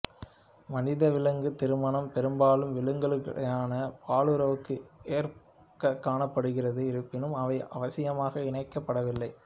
மனிதவிலங்கு திருமணம் பெரும்பாலும் விலங்குகளுடனான பாலுறவுக்கு ஏற்ப காணப்படுகிறது இருப்பினும் அவை அவசியமாக இணைக்கப்படவில்லை